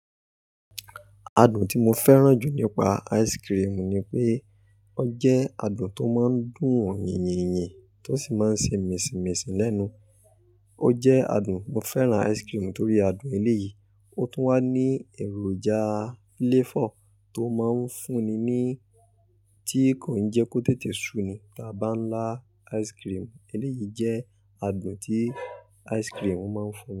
Adùn tí mo fẹ́ràn jù nípa ice cream ni pé, o jẹ́ adùn tó máa ń dùn yinyin to sì máa ń ṣe mìsinmìsin lẹ́nu. O jẹ́ adùn. Mo fẹ́ràn ice cream torí adùn eléyìí. Ó tún wá ní èròjà flavour tó máa ń fúnni ni tí kò ń jẹ kó tètè suni. Taba ńlá ice cream eléyìí jẹ́ adùn tí ice cream máa ń fún.